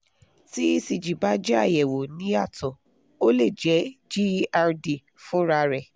tí ecg bá jẹ́ àyẹ́wọ́ níyàtọ̀ o lè jẹ́ gerd fúnra rẹ̀